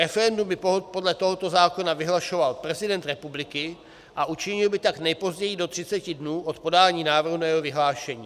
Referendum by podle tohoto zákona vyhlašoval prezident republiky a učinil by tak nejpozději do 30 dnů od podání návrhu na jeho vyhlášení.